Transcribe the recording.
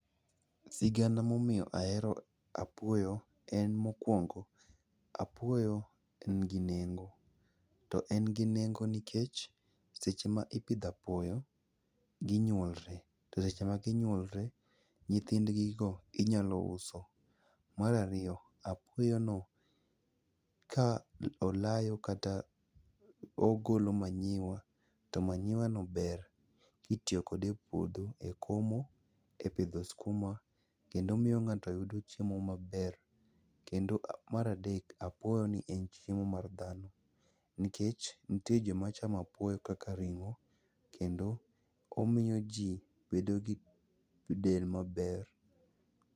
Sigana momiyo ahero apuoyo en mokuongo apuoyo engi nengo to engi nengo nikech seche ma ipidho apuoyo ginyuolre to seche magi nyuolre nyithindigigo inyalo uso. Mar ariyo, apuoyono ka olayo kata ogolo manure to manureno ber kitiyo kode epuodho e komo, epidho skuma kendo miyo ng'ato yudo chiemo maber. Kendo mar adeko, apuoyoni en nchiemo mar dhano nikech nitie joma chamo apuoyo kaka ring'o kendo omiyoji bedo gi del maber.